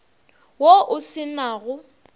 wo o se na go